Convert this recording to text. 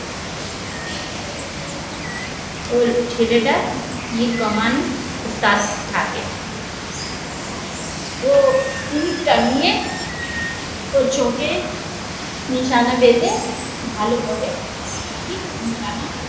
ওই ছেলেটা যে কমান সে থাকে তীর টানিয়ে ওর চোখে নিশানা বেঁধে ভালো করে ঠিক নিশানা